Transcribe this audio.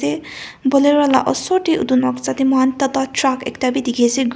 eh bolero la osor de edu noksa de moikhan tata truck ekta b dikhi ase--